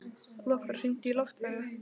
Lokbrá, hringdu í Loftveigu.